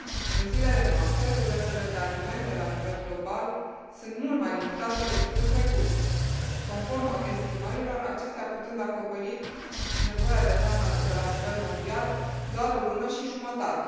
În zilele noastre, rezervele de alimente la nivel global sunt mult mai limitate decât în trecut, conform estimărilor, acestea putând acoperi nevoia de hrană de la nivel mondial doar o lună și jumătate.